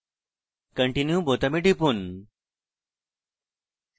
continue বোতামে টিপুন